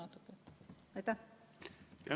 Aitäh teile!